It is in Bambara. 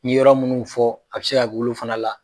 N ye yɔrɔ minnu fɔ a bɛ se ka kɛ olu fana la.